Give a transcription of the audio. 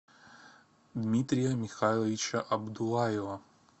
дмитрия михайловича абдуллаева